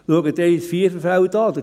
– Betrachten Sie das Viererfeld.